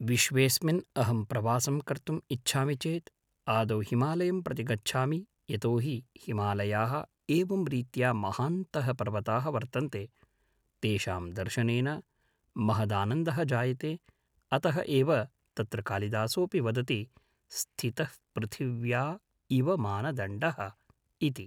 विश्वेस्मिन् अहं प्रवासं कर्तुम् इच्छामि चेत् आदौ हिमालयं प्रति गच्छामि यतोहि हिमालयाः एवं रीत्या महान्तः पर्वताः वर्तन्ते तेषां दर्शनेन महदानन्दः जायते अतः एव तत्र कालिदासोऽपि वदति स्थितः पृथिव्या इव मानदण्डः इति